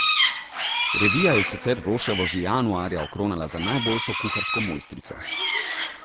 Revija je sicer Roševo že januarja okronala za najboljšo kuharsko mojstrico.